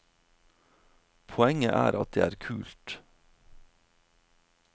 Poenget er at det er kult.